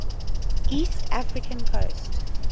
east african coast